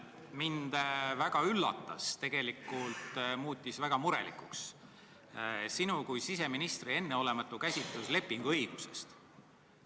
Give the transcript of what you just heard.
Mind väga üllatas ja muutis väga murelikuks sinu kui siseministri enneolematu lepinguõigusekäsitlus.